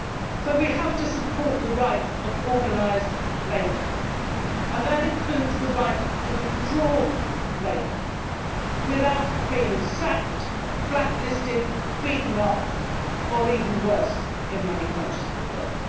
So we have to support the right of organised labour and that includes the right to withdraw labour without being sacked, black listed, beaten up or even worse, in many countries of the world.